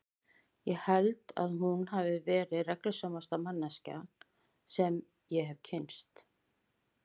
Ég held að hún hafi verið reglusamasta manneskjan sem ég hefi kynnst.